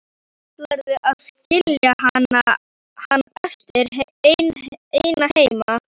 Ætlarðu að skilja hann eftir einan heima?